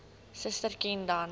suster ken dan